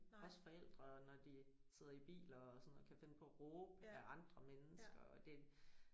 Også forældre når de sidder i bil og sådan kan finde på at råbe ad andre mennesker og det